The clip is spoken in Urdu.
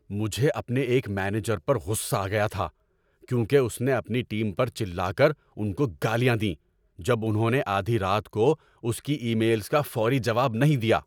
مجھے اپنے ایک مینیجر پر غصہ آ گیا تھا کیونکہ اس نے اپنی ٹیم پر چلا کر ان کو گالیاں دیں جب انہوں نے آدھی رات کو اس کی ای میلز کا فوری جواب نہیں دیا۔